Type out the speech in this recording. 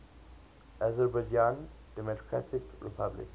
azerbaijan democratic republic